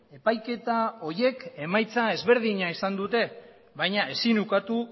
epaiketa horiek emaitza ezberdina izan dute baina ezin ukatu